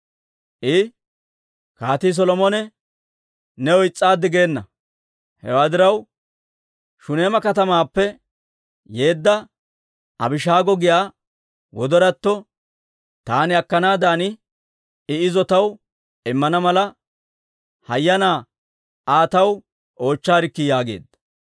I, «Kaatii Solomone new is's'aaddi geena; hewaa diraw, Shuneema katamaappe yeedda Abishaago giyaa wodoratto taani akkanaaddan I izo taw immana mala, hayyanaa Aa taw oochchaarikki» yaageedda.